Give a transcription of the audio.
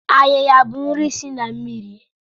Ayiya bụ nri si na mmiri.